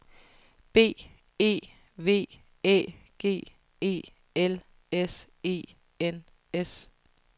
B E V Æ G E L S E N S